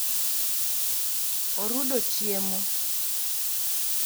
orudo chiemo